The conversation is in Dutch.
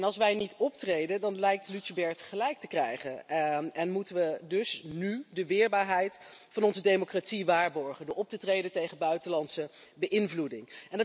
Als wij niet optreden, dan lijkt Lucebert gelijk te krijgen en moeten we dus nu de weerbaarheid van onze democratie waarborgen door op te treden tegen buitenlandse beïnvloeding.